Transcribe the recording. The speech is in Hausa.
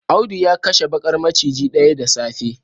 Audu ya kashe bakar maciji daya da safe